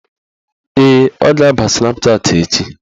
Ee, ọ ga-aba Snapchatị echi